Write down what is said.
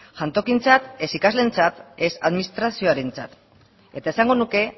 jantokientzat ez ikasleentzat ez administrazioarentzat eta esango nuke